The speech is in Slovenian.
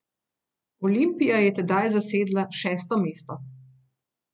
Olimpija je tedaj zasedla šesto mesto.